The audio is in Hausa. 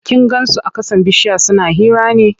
Kin gan su a ƙasan bishiya suna hira ne?